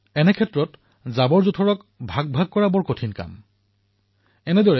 এনে অৱস্থাত জাবৰজোঁথৰসমূহ পৃথকীকৰণ কৰি ব্যৱস্থাপনা কৰাটো অতিশয় গুৰুত্বপূৰ্ণ কাম